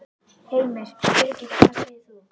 Heimir: Birgitta, hvað segir þú?